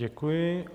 Děkuji.